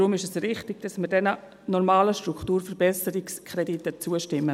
Daher ist es richtig, dass wir diesen normalen Strukturverbesserungskrediten zustimmen.